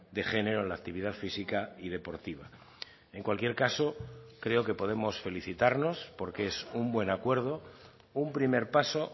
de género en la actividad física y deportiva en cualquier caso creo que podemos felicitarnos porque es un buen acuerdo un primer paso